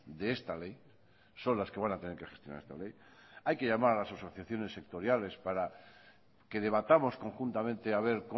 de esta ley son las que van a tener que gestionar esta ley hay que llamar a las asociaciones sectoriales para que debatamos conjuntamente a ver